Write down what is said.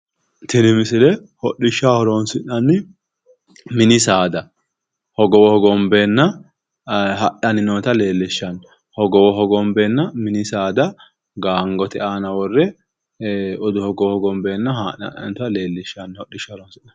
tini misile hodhishshaho horonsi'nanni mini saada hogowo hogombeenna hadhanna leellishshanno hogowo hogombeenna mini saada gaangote aana worre hogowo hogombeenna haadhe hadhannota leellishshanno misileeti